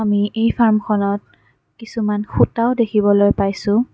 আমি এই ফাৰ্মখনত কিছুমান সূতাও দেখিবলৈ পাইছোঁ।